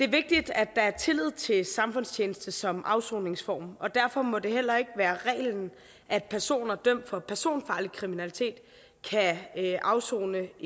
vigtigt at der er tillid til samfundstjeneste som afsoningsform og derfor må det heller ikke være reglen at personer dømt for personfarlig kriminalitet kan afsone